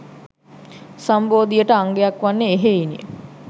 සම්බෝධියට අංගයක් වන්නේ එහෙයිනි.